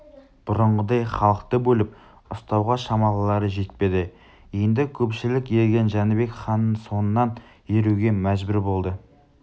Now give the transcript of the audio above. бұрынғыдай халықты бөліп ұстауға шамалары жетпеді енді көпшілік ерген жәнібек ханның соңынан еруге мәжбүр болды